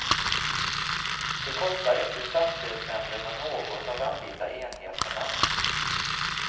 Det kostar inte stadsdelsnämnderna något att anlita enheterna.